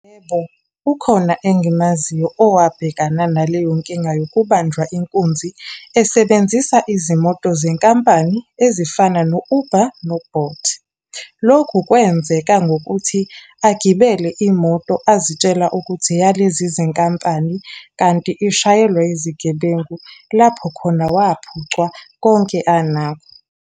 Yebo, ukhona engimaziyo owabhekana naleyo nkinga yokubanjwa inkunzi esebenzisa izimoto zenkampani ezifana no-Uber no-Bolt. Lokhu kwenzeka ngokuthi agibele imoto azitshela ukuthi eyalezi zinkampani, kanti ishayelwa izigebengu. Lapho khona wamphucwa konke anakho.